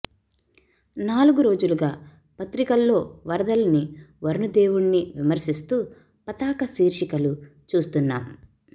నాలుగు రోజులుగా పత్రి కల్లో వరదల్ని వరుణ దేవు డిని విమర్శిస్తూ పతాక శీర్షి కలు చూస్తున్నాం